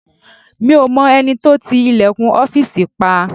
Mi ò mọ ẹni tó ti ilẹ̀kùn ọ́fìsì pa